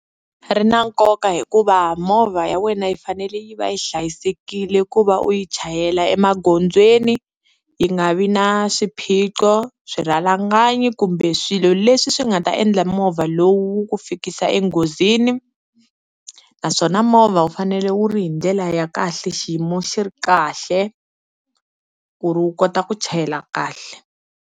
Ri na nkoka hikuva movha ya wena yi fanele yi va yi hlayisekile ku va u yi chayela emagondzweni yi nga vi na swiphiqo, swirhalanganyi kumbe swilo leswi swi nga ta endla movha lowu ku fikisa enghozini, naswona movha wu fanele wu ri hi ndlela ya kahle, xiyimo xi ri kahle ku ri wu kota ku chayela kahle.